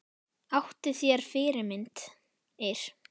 Áttu þér fyrirmyndir?